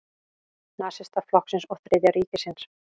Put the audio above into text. Nasistaflokksins og Þriðja ríkisins.